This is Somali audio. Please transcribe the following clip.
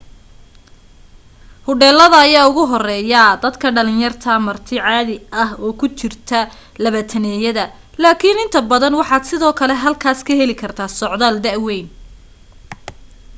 hodheelada ayaa ugu horreeya dadka dhalinta yar marti caadi ah oo ku jirta labaataneyada laakiin inta badan waxaad sidoo kale halkaas ka heli kartaa socdaal da weyn